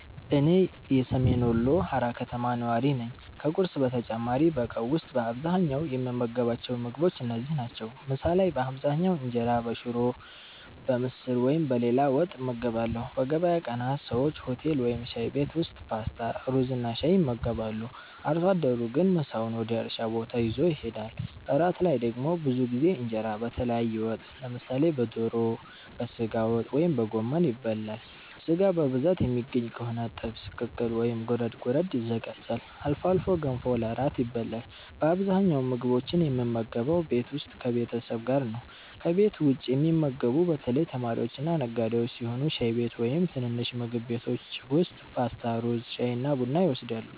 እኔ ሰሜን ወሎ ሃራ ከተማ ነዋሪ ነኝ። ከቁርስ በተጨማሪ በቀን ውስጥ በአብዛኛው የምንመገባቸው ምግቦች እነዚህ ናቸው፦ ምሳ ላይ በአብዛኛው እንጀራ በሽሮ፣ በምስር ወይም በሌላ ወጥ እንመገባለን። በገበያ ቀናት ሰዎች ሆቴል ወይም ሻይ ቤት ውስጥ ፓስታ፣ ሩዝና ሻይ ይመገባሉ። አርሶ አደሩ ግን ምሳውን ወደ እርሻ ቦታ ይዞ ይሄዳል። እራት ላይ ደግሞ ብዙ ጊዜ እንጀራ በተለያየ ወጥ (በዶሮ፣ በሥጋ ወይም በጎመን) ይበላል። ሥጋ በብዛት የሚገኝ ከሆነ ጥብስ፣ ቅቅል ወይም ጎረድ ጎረድ ይዘጋጃል። አልፎ አልፎ ገንፎ ለእራት ይበላል። በአብዛኛው ምግቦችን የምንመገበው ቤት ውስጥ ከቤተሰብ ጋር ነው። ከቤት ውጭ የሚመገቡት በተለይ ተማሪዎችና ነጋዴዎች ሲሆኑ ሻይ ቤት ወይም ትንንሽ ምግብ ቤቶች ውስጥ ፓስታ፣ ሩዝ፣ ሻይና ቡና ይወስዳሉ።